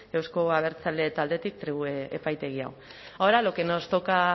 eusko abertzale taldetik tribu epaitegia ahora lo que nos toca a